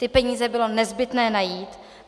Ty peníze bylo nezbytné najít.